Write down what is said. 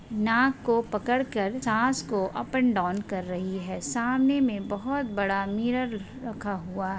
नाक को पकड़कर सास को अप अँड डाऊन कर रही है सामने मे बहुतबड़ा मिरर रखा हुवा है --